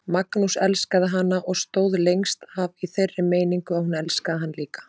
Magnús elskaði hana og stóð lengst af í þeirri meiningu að hún elskaði hann líka.